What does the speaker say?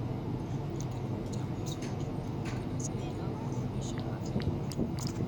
Kilimo cha mzunguko kinasaidia kudumisha afya ya udongo.